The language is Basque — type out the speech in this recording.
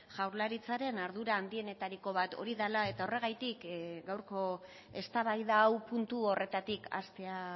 jaurlaritzaren ardura handienetariko bat hori dela eta horregatik gaurko eztabaida hau puntu horretatik hastea